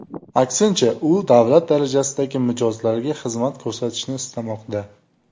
Aksincha, u davlat darajasidagi mijozlarga xizmat ko‘rsatishni istamoqda.